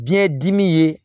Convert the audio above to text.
Biyɛn dimi ye